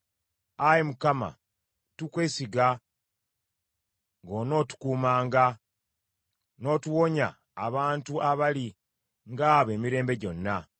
Ayi Mukama , tukwesiga ng’onootukuumanga, n’otuwonya abantu abali ng’abo emirembe gyonna.